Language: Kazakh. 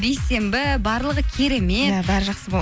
бейсенбі барлығы керемет иә бәрі жақсы болады